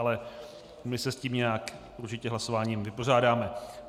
Ale my se s tím nějak určitě hlasováním vypořádáme.